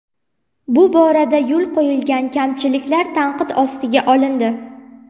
Bu borada yo‘l qo‘yilgan kamchiliklar tanqid ostiga olindi.